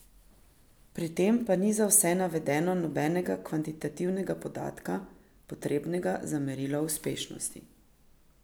Pri tem pa ni za vse navedeno nobenega kvantitativnega podatka, potrebnega za merilo uspešnosti.